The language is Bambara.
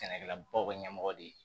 Sɛnɛkɛlabaw ka ɲɛmɔgɔ de ye